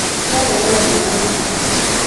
Nĩareherwo ndawa nĩ nathi